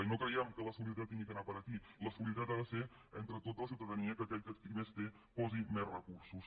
i no creiem que la solidaritat hagi d’anar a parar aquí la solidaritat ha de ser entre tota la ciutadania que aquell qui més té posi més recursos